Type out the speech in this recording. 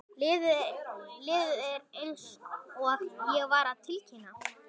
Liðið er eins og ég var að tilkynna.